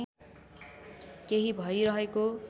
केही भइरहेको